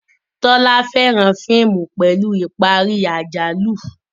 Tola féràn fíìmù pẹlú ìparí àjálù